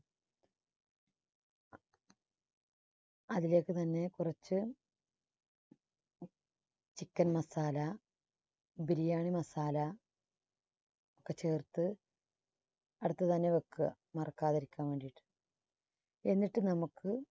അതിലേക്ക് തന്നെ കുറച്ച് chicken masala biriyani masala ഒക്കെ ചേർത്ത് അടുത്തു തന്നെ വെക്കുക. മറക്കാതിരിക്കാൻ വേണ്ടിയിട്ട് എന്നിട്ട് നമുക്ക്